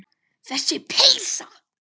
Þessi peysa!